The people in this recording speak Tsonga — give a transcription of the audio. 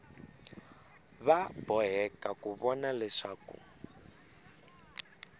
va boheka ku vona leswaku